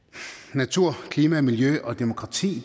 natur klima miljø og demokrati